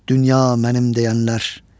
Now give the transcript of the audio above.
Dünya mənim deyənlər?